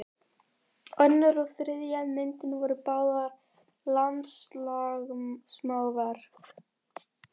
Önnur og þriðja myndin voru báðar landslagsmálverk.